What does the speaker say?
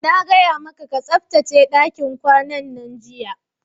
Na gaya maka ka tsaftace dakin kwanan, jiya!